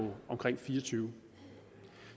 omkring fireogtyvende